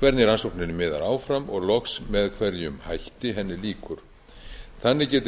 hvernig rannsókninni miðar áfram og loks með hverjum hætti henni lýkur þannig geti